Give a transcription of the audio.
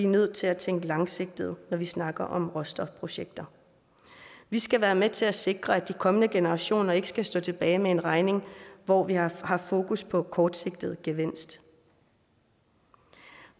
nødt til at tænke langsigtet når vi snakker om råstofprojekter vi skal være med til at sikre at de kommende generationer ikke skal stå tilbage med en regning hvor vi har haft fokus på kortsigtet gevinst